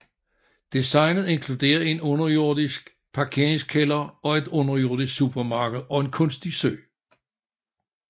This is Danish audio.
Designet inkluderer en underjordisk parkeringskælder og et underjordisk supermarked og en kunstig sø